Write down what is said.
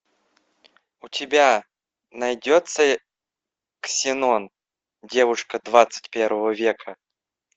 у тебя найдется ксенон девушка двадцать первого века